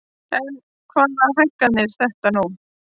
En hvað hækkar þetta nú?